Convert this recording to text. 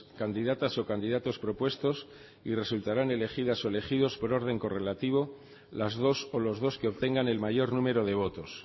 candidatas o candidatos propuestos y resultarán elegidas o elegidos por orden correlativo las dos o los dos que obtengan el mayor número de votos